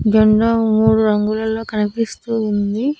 జెండా మూడు రంగులలో కనిపిస్తూ ఉంది.